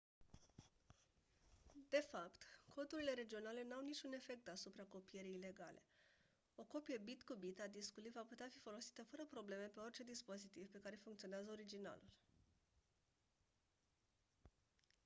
de fapt codurile regionale n-au niciun efect asupra copierii ilegale o copie bit cu bit a discului va putea fi folosită fără probleme pe orice dispozitiv pe care funcționează originalul